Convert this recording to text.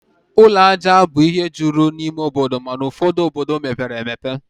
Ụlọ aja bụ ihe juru n'ime obodo, mana ụfọdu obodo mepere emepe